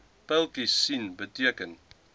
pyltjies sien beteken